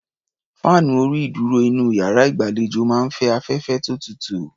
Fáànù orí-ìdúrò inú iyàrá ìgbàlejò máa ń fẹ́ afẹ́fẹ́ tó tutù.